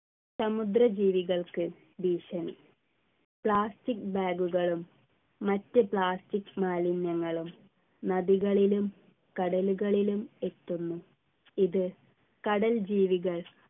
സമുദ്രജീവികൾക്ക് ഭീഷണി plastic bag കളും മറ്റ് plastic മാലിന്യങ്ങളും നദികളിലും കടലുകളിലും എത്തുന്നു ഇത് കടൽ ജീവികൾ